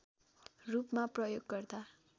रूपमा प्रयोग गर्दा